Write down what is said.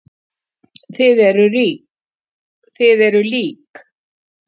Þið eruð lík.